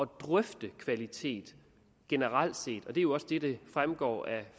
drøfte kvalitet generelt set og det er jo også det der fremgår af